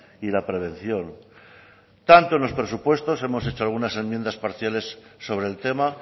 y la prevención tanto en los presupuestos hemos hecho algunas enmiendas parciales sobre el tema